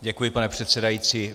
Děkuji, pane předsedající.